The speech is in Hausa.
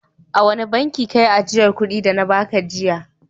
A wane bankin ka yi ajiyar kuɗin da na ba ka jiya?